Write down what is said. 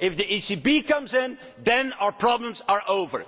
if the ECB comes in, then our problems are over.